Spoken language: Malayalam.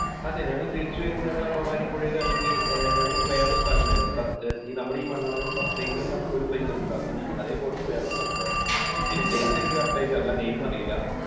അതെ ഞങ്ങൾ തിരിച്ചു വരുമ്പോൾ ഞങ്ങൾ ആ ഭവാനി പുഴയിൽ ഇറങ്ങി, ഞങ്ങൾക്ക് വേറെ ഒരു സ്ഥലം ഉണ്ടായിരുന്നു. നമ്മുടെയും മണ്ണാർക്കാട് സത്യമംഗലം എന്ന് പറഞ്ഞിട്ട് ഒരു സ്ഥലമുണ്ടല്ലോ, place ഉണ്ടല്ലോ അതേ പോലത്തെ വേറൊരു സ്ഥലം ഉണ്ടായിരുന്നു. അത് place എനിക്ക് correct ആയിട്ട് അറിയില്ല name അറിയില്ല